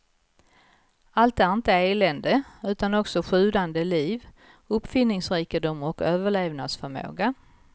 Allt är inte elände, utan också sjudande liv, uppfinningsrikedom och överlevnadsförmåga.